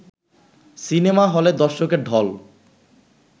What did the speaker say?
cinema হলে দর্শকের ঢল